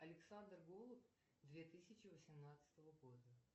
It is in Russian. александр голуб две тысячи восемнадцатого года